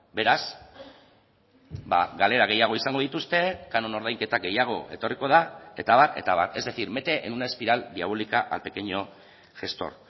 beraz galera gehiago izango dituzte canon ordainketa gehiago etorriko da eta abar eta abar es decir mete en una espiral diabólica al pequeño gestor